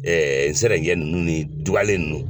nzɛrɛnjɛ ninnu ni dugalen ninnu.